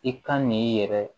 I kan n'i yɛrɛ